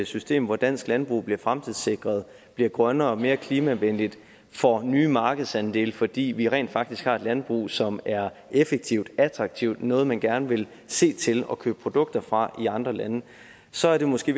system hvor dansk landbrug bliver fremtidssikret bliver grønnere mere klimavenligt og får nye markedsandele fordi vi rent faktisk har et landbrug som er effektivt og attraktivt og noget man gerne vil se til og købe produkter fra i andre lande så er det måske